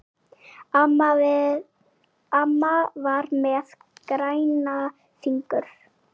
Amma var með græna fingur.